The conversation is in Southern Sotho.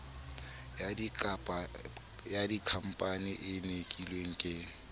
ya dikhampani e nkilweng ke